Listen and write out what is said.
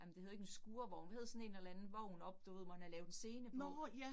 Ej men det hed ikke en skurvogn, hvad sådan en eller anden vogn oppe, du ved, hvor man havde lavet en scene på